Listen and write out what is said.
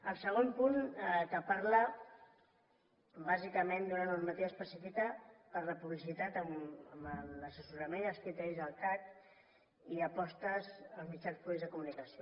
el segon punt que parla bàsicament d’una normativa específica per la publicitat amb l’assessorament i els criteris del cac i apostes als mitjans públics de comunicació